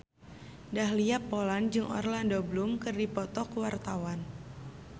Dahlia Poland jeung Orlando Bloom keur dipoto ku wartawan